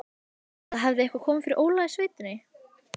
Eða hafði eitthvað komið fyrir Óla í sveitinni?